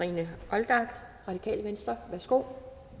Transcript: olldag det radikale venstre værsgo